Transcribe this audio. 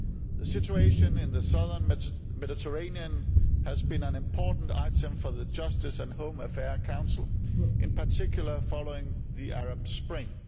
The situation in the southern Mediterranean has been an important item for the Justice and Home Affairs Council, in particular following the Arab Spring.